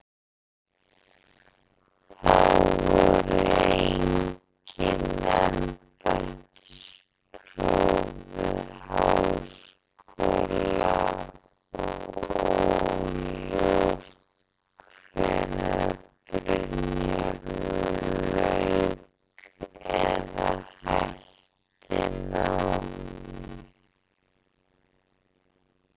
Þá voru engin embættispróf við háskóla og óljóst hvenær Brynjólfur lauk eða hætti námi.